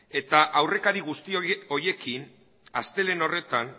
eta aurrekari guzti horiekin astelehen horretan